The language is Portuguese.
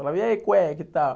Falava, e aí cueca e tal.